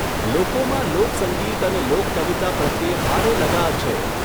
લોકોમાં લોકસંગીત અને લોકકવિતા પ્રત્યે ભારે લગાવ છે.